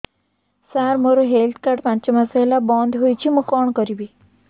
ସାର ମୋର health card ପାଞ୍ଚ ମାସ ହେଲା ବଂଦ ହୋଇଛି ମୁଁ କଣ କରିବି